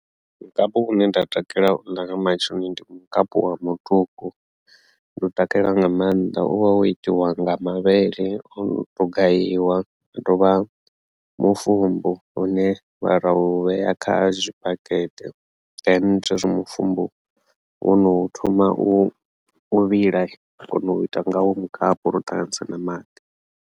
Mukapu une nda takalela u ḽa nga matsheloni ndi mukapu wa muṱuku ndi u takalela nga maanḓa u vha wo itiwa nga mavhele o no to gayiwa a tovha mufumbu hune vha ra u vhea kha zwi bakete then zwezwi mufumbu wono thoma u vhila ra kona u ita ngawo mukapu ro ṱanganisa na maḓi.